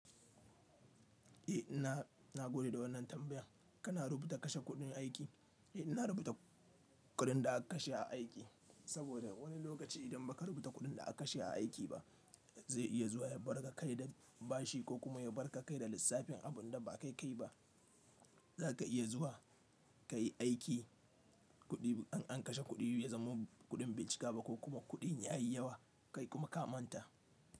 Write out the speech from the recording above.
Eh ina, na gode da wannan tambaya. Kana rubuta kashe kuɗin aiki? Eh, ina rubuta kuɗin da aka kashe a aiki, saboda wani lokaci idan ba ka rubuta kuɗin da aka kashe a aiki ba, zai iya zuwa ya barka kai da bashi ko kuma ya barka kai da lissafin abun da ba ka kai ba. Za ka iya zuwa ka yi aiki, kuɗi an kashe kuɗi ya zamo kuɗin bai cika ba ko kuma kuɗin ya yi yawa, kai kuma ka manta.